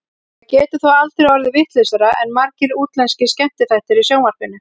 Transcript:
Það getur þó aldrei orðið vitlausara en margir útlenskir skemmtiþættir í sjónvarpinu.